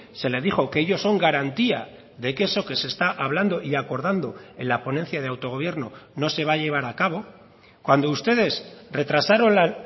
se le dijo que ellos son garantía de que eso que se está hablando y acordando en la ponencia de autogobierno no se va a llevar a cabo cuando ustedes retrasaron la